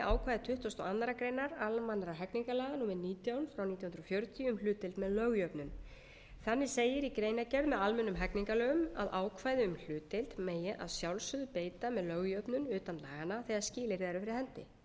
ákvæði tuttugasta og aðra grein almennra hegningarlaga númer nítján nítján hundruð fjörutíu um hlutdeild með lögjöfnun þannig segir í greinargerð með almennum hegningarlögum að ákvæði um hlutdeild megi að sjálfsögðu beita með lögjöfnun utan laganna þegar skilyrði eru fyrir hendi að